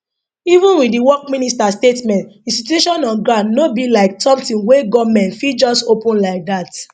even wit di work minister statement di situation on ground no be like sometin wey goment fit just open like dat